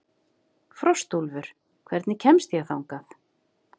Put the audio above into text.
Frostúlfur, hvernig kemst ég þangað?